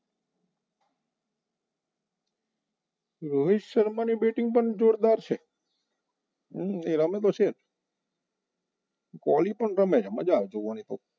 રોહિત શર્મા ની batting પણ જોરદાર છે એ રમે તો છે કોહલી પણ રમે છે મજા આવે જોવાનું